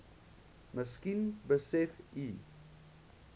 miskien besef u